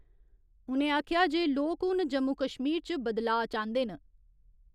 उ'नें आखेआ जे लोक हून जम्मू कश्मीर च बदलाऽ चांह्दे न।